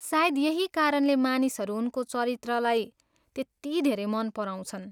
सायद यही कारणले मानिसहरू उनको चरित्रलाई त्यति धेरै मन पराउँछन्।